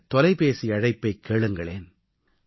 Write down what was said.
இந்த தொலைபேசி அழைப்பைக் கேளுங்களேன்